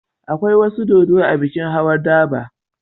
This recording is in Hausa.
Akwai wasu dodo a bikin Hawan Durbar.